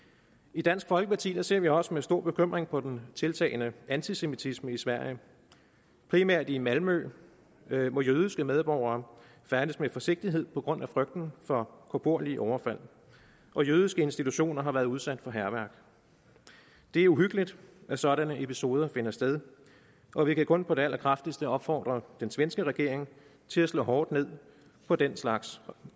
i dansk folkeparti ser vi også med stor bekymring på den tiltagende antisemitisme i sverige primært i malmø hvor jødiske medborgere færdes med forsigtighed på grund af frygten for korporlige overfald og jødiske institutioner har været udsat for hærværk det er uhyggeligt at sådanne episoder finder sted og vi kan kun på det allerkraftigste opfordre den svenske regering til at slå hårdt ned på den slags